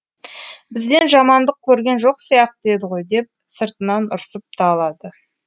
бізден жамандық көрген жоқ сияқты еді ғой деп сыртынан ұрсып та алады